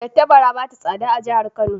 Tattabara ba ta tsada a jihar Kano